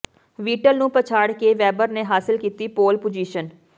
Vettel ਨੂੰ ਪਛਾੜ ਕੇ ਵੇਬਰ ਨੇ ਹਾਸਲ ਕੀਤੀ ਪੋਲ ਪੁਜੀਸ਼ਨ